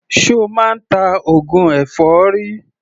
Ṣo máa ń ta oògùn èfọ́rí?